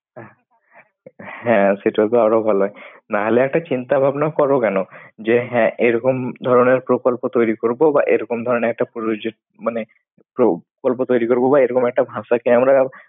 হ্যাঁ, সেটা তো আরো ভালো হয়। নাহলে একটা চিন্তা ভাবনা করো কেন? যে হ্যাঁ, এরকম ধরনের প্রকল্প তৈরী করবো বা এরকম ধরনের একটা প্রযোজক মানে প্রকল্প তৈরী করবো বা এরকম একটা ভাষাকে আমরা